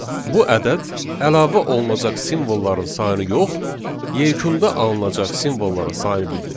Bu ədəd əlavə olunacaq simvolların sayını yox, yekunda alınacaq simvolların sayını bildirir.